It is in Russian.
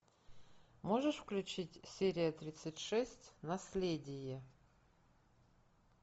можешь включить серия тридцать шесть наследие